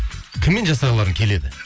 кіммен жасағыларың келеді